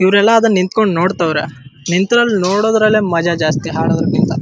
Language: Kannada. ಇವ್ರೆಲ್ಲ ಅದನ್ನ ನಿಂಥಂಕೊಂಡು ನೋಡ್ತವ್ರೆ ನಿಂಥಂಕೊಂಡ್ ನೋಡೋಕೆ ಮಜಾ ಜಾಸ್ತಿ ಹಾಡೋದ್ರ್ ಕಿಂತ --